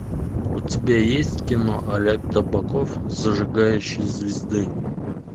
у тебя есть кино олег табаков зажигающий звезды